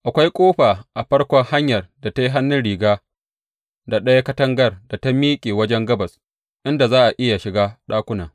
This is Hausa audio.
Akwai ƙofa a farkon hanyar da ta yi hannun riga da ɗayan katangar da ta miƙe wajen gabas, inda za a iya shiga ɗakunan.